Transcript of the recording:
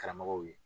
Karamɔgɔw ye